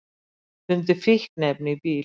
Fundu fíkniefni í bíl